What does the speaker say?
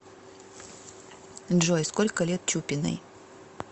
джой сколько лет чупиной